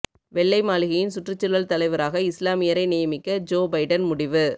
வெள்ளை மாளிகையின் சுற்றுச்சூழல் தலைவராக இஸ்லாமியரை நியமிக்க ஜோ பைடன் முடிவு